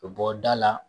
Bɔ da la